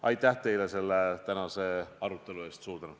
Aitäh teile selle tänase arutelu eest!